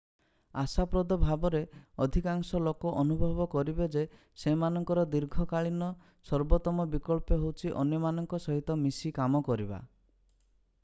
ଆଶାପ୍ରଦ ଭାବରେ ଅଧିକାଂଶ ଲୋକ ଅନୁଭବ କରିବେ ଯେ ସେମାନଙ୍କର ଦୀର୍ଘକାଳୀନ ସର୍ବୋତ୍ତମ ବିକଳ୍ପ ହେଉଛି ଅନ୍ୟମାନଙ୍କ ସହିତ ମିଶି କାମ କରିବା।